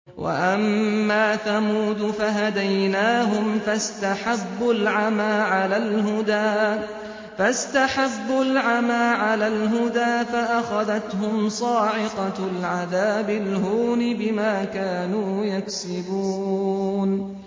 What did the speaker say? وَأَمَّا ثَمُودُ فَهَدَيْنَاهُمْ فَاسْتَحَبُّوا الْعَمَىٰ عَلَى الْهُدَىٰ فَأَخَذَتْهُمْ صَاعِقَةُ الْعَذَابِ الْهُونِ بِمَا كَانُوا يَكْسِبُونَ